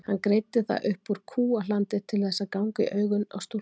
Hann greiddi það upp úr kúahlandi til þess að ganga í augun á stúlkunum.